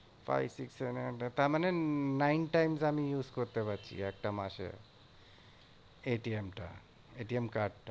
তারমানে nine times আমি use করতে পারছি একটা মাসে। টা card টা।